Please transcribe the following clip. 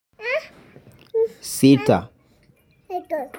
Sita.